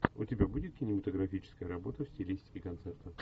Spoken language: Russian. у тебя будет кинематографическая работа в стилистике концерта